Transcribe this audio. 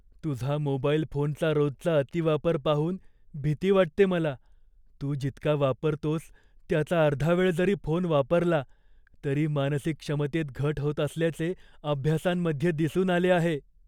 तुझा मोबाईल फोनचा रोजचा अतिवापर पाहून भीती वाटते मला. तू जितका वापरतोस त्याचा अर्धा वेळ जरी फोन वापरला तरी मानसिक क्षमतेत घट होत असल्याचे अभ्यासांमध्ये दिसून आले आहे.